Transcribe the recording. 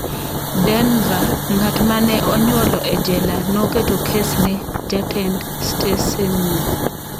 Denver: Ng’at mane onyuolo e jela noketo kes ne jatend stesenno